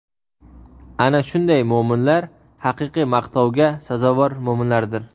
Ana shunday mo‘minlar haqiqiy maqtovga sazovor mo‘minlardir.